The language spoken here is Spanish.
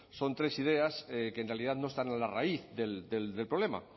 son tres ideas que en realidad no están en la raíz del problema